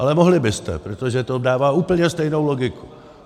Ale mohli byste, protože to dává úplně stejnou logiku.